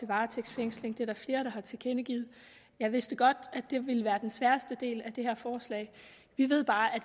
varetægtsfængsling hvilket flere har tilkendegivet jeg vidste godt at det ville være den sværeste del af det her forslag vi ved bare at